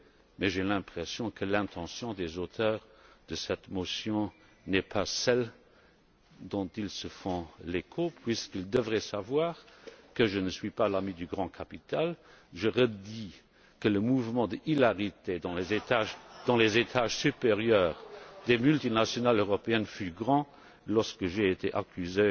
le demandera mais j'ai l'impression que l'intention des auteurs de cette motion n'est pas celle dont ils se font l'écho puisqu'ils devraient savoir que je ne suis pas l'ami du grand capital. Je redis que le mouvement d'hilarité dans les étages supérieurs des multinationales européennes fut grand lorsque